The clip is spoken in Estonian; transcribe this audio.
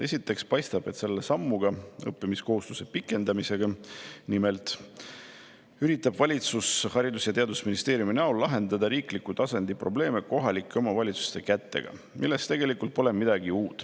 Esiteks paistab, et selle sammuga, õppimiskohustuse pikendamisega üritab valitsus, Haridus- ja Teadusministeerium kohalike omavalitsuste kaudu lahendada riikliku tasandi probleeme, milles tegelikult pole midagi uut.